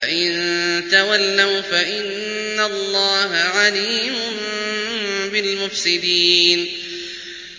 فَإِن تَوَلَّوْا فَإِنَّ اللَّهَ عَلِيمٌ بِالْمُفْسِدِينَ